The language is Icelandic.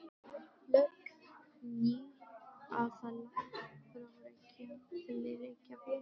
Lögð ný aðalæð frá Reykjum til Reykjavíkur.